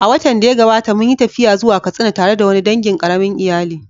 A watan da ya gabata, mun yi tafiya zuwa Katsina tare da wani dangin ƙaramin iyali